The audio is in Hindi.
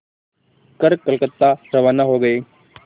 कर कलकत्ता रवाना हो गए